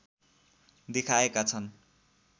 देखाएका छन्